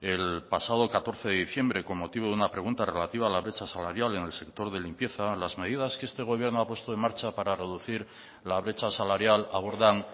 el pasado catorce de diciembre con motivo de una pregunta relativa a la brecha salarial en el sector de limpieza las medidas que este gobierno ha puesto en marcha para reducir la brecha salarial abordan